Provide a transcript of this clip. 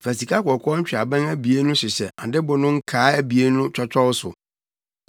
Fa sikakɔkɔɔ ntweaban abien no hyehyɛ adɛbo no nkaa abien no twɔtwɔw so,